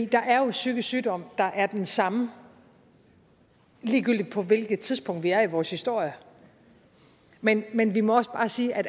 der er jo psykisk sygdom der er den samme ligegyldigt på hvilket tidspunkt vi er i vores historie men men vi må også bare sige at